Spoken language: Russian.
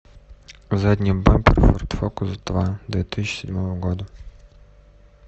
задний бампер форд фокус два две тысячи седьмого года